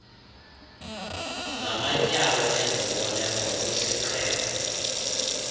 namatyala ezibonelelo ngokwesiqhelo